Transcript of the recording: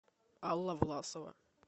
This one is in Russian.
алла власова